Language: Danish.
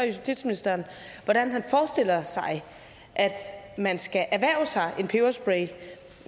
justitsministeren hvordan han forestiller sig at man skal erhverve sig en peberspray